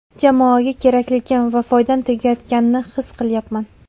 Jamoaga kerakligim va foydam tegayotganini his qilyapman.